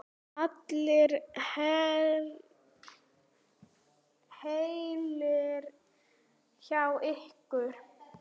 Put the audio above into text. Allir heilir hjá ykkur?